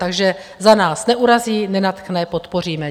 Takže za nás - neurazí, nenadchne, podpoříme.